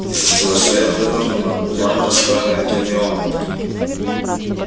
из-за стеллажей вынырнула явно расстроенная гермиона